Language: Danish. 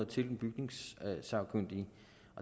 til den bygningssagkyndige